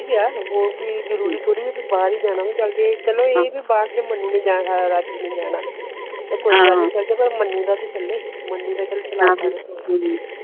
ਇਹ ਹੋਰ ਵੀ ਜਰੂਰੀ ਹੋ ਥੋੜੀ ਕਿ ਬਾਹਰ ਹੀ ਜਾਣਾ ਚਲ ਜੇ ਚਲੋ ਬਾਹਰ ਮੰਨੂ ਨੇ ਜਾਣਾ ਰਾਜੂ ਨੇ ਜਾਣਾ ਪਰ ਮੰਨੂ ਤਾਂ ਚਲੇ